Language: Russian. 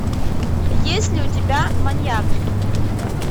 есть ли у тебя маньяк